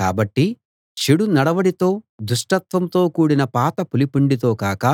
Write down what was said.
కాబట్టి చెడు నడవడితో దుష్టత్వంతో కూడిన పాత పులిపిండితో కాక